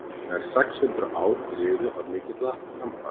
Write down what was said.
nær sex hundruð ár liðu án mikilla framfara